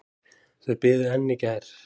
Þau biðu enn í gær.